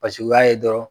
Paseke u y'a ye dɔrɔn